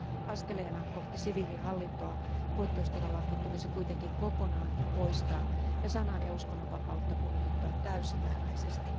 Askeleena kohti siviilihallintoa poikkeustilalaki tulisi kuitenkin kokonaan poistaa ja sanan ja uskonnonvapautta kunnioittaa täysimääräisesti.